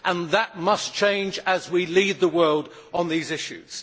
That must change, as we lead the world on these issues.